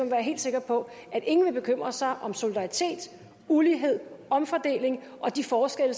være helt sikker på at ingen vil bekymre sig om solidaritet ulighed omfordeling og de forskelle